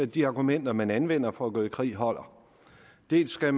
de argumenter man anvender for at gå i krig holder dels skal